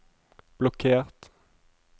blokkert